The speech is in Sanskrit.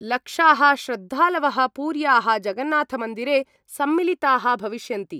लक्षा: श्रद्धालव: पुर्या: जगन्नाथ मन्दिरे सम्मिलिता: भविष्यन्ति।